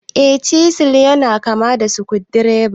Eh, chisil yana kama da sukudireba.